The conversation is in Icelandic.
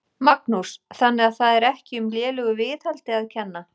Magnús: Þannig að það er ekki um lélegu viðhaldi að kenna?